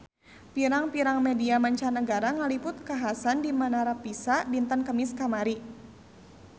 Pirang-pirang media mancanagara ngaliput kakhasan di Menara Pisa dinten Kemis kamari